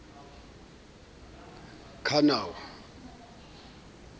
k ha o na ho